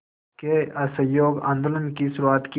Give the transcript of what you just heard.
के असहयोग आंदोलन की शुरुआत की